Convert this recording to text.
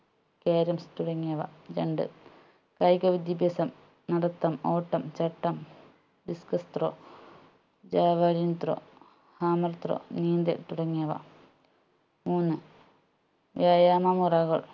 caroms തുടങ്ങിയവ രണ്ട് കായിക വിദ്യാഭ്യാസം നടത്തം ഓട്ടം ചാട്ടം discuss throw javelin throw hammer throw നീന്തൽ തുടങ്ങിയവ മൂന്ന് വ്യായാമ മുറകൾ